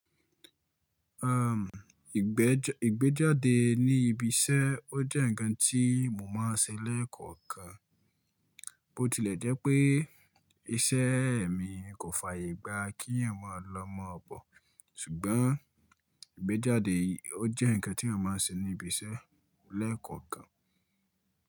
Um, ìgbẹ́jáde ní ibi iṣẹ́ ó jẹ́ ǹkan tí mo máa ń ṣe lẹ́ẹ̀kọ̀kan. Bó tilẹ̀ jẹ́ pé iṣẹ́ mi kò fàyè gba kí yan máa lọ mọ bọ̀, ṣùgbọ́n ìgbẹ́jáde ó jẹ́ ǹkan tí yan máa ń ṣe ní ibi iṣẹ́ lẹ́ẹ̀kọ̀kan.